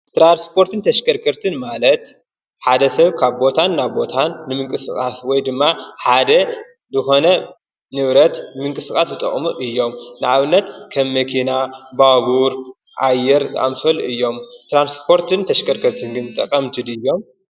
ትራንስፖርትን ተሽከርከርትን ማለት ሓደ ሰብ ካብ ቦታን ናብ ቦታን ንምንቅስቓስ ወይ ድማ ሓደ ዝኾነ ንብረት ንምንቅስቓስ ዝጠቕሙ እዮም። ንኣብነት ከም መኪና፣ ባቡር፣ ኣየር ዝኣመሰሉ እዮም። ትራንስፖርትን ተሽከርከርትንን ጠቐምቲ ድዮም?